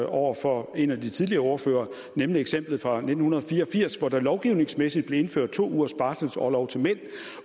over for en af de tidligere ordførere nemlig eksemplet fra nitten fire og firs hvor der lovgivningsmæssigt blev indført to ugers barselsorlov til mænd